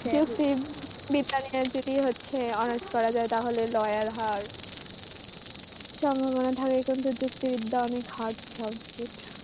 যুক্তিবিদ্যা honours করা যায় তাহলে lawyer হওয়ার সম্ভাবনা থাকে. কিন্তু যুক্তিবিদ্যা অনেক hard subject.